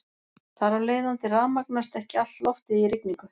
Þar af leiðandi rafmagnast ekki allt loftið í rigningu.